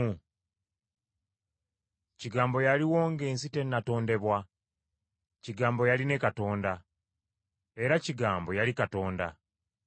Kigambo yaliwo ng’ensi tennatondebwa. Kigambo yali ne Katonda, era Kigambo yali Katonda.